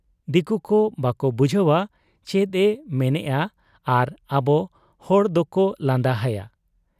ᱫᱤᱠᱩᱠᱚ ᱵᱟᱠᱚ ᱵᱩᱡᱷᱟᱹᱣ ᱟ ᱪᱮᱫ ᱮ ᱢᱮᱱᱮᱜ ᱟ ᱟᱨ ᱟᱵᱚ ᱦᱚᱲ ᱫᱚᱠᱚ ᱞᱟᱸᱫᱟ ᱦᱟᱭᱟ ᱾